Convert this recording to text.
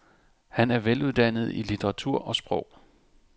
Han er veluddannet i litteratur og sprog.